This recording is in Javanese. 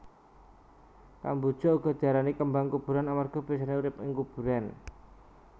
Kamboja uga diarani kembang kuburan amarga biyasané urip ing kuburan